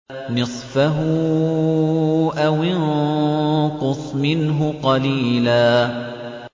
نِّصْفَهُ أَوِ انقُصْ مِنْهُ قَلِيلًا